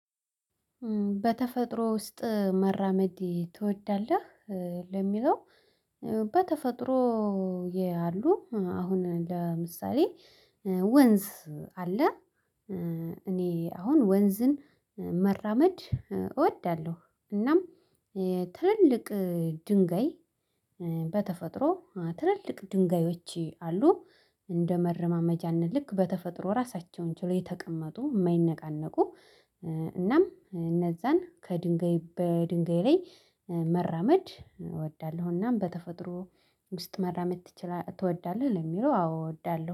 በተፈጥሮ ውስጥ መራመድ ትወዳለህ? ኧ ለሚለው በተፈጥሮ የ ያሉ አሁን ለምሳሌ ኧ ወንዝ አለ ኧ እኔ አሁን ወንዝን መራመድ እወዳለሁ። እናም ትልልቅ ድንጋይ በተፈጥሮ ትልልቅ ድንጋዮች አሉ እንደ መረማመጃነት ልክ በተፈጥሮ ራሳቸውን ችለው የተቀመጡ እማይነቃነቁ እናም እነዛን ከድንጋይ በድንጋይ ላይ መራመድ እወዳለሁ። እናም በተፈጥሮ ውስጥ መራመድ ትችላ ትወዳለህ ለሚለው አዎ እወዳለሁ